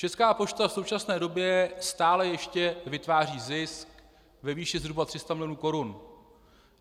Česká pošta v současné době stále ještě vytváří zisk ve výši zhruba 300 milionů korun.